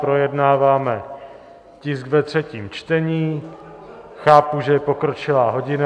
Projednáváme tisk ve třetím čtení, chápu, že je pokročilá hodina.